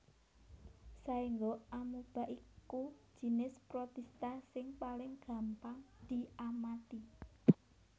Saéngga Amoeba iku jinis Protista sing paling gampang diamati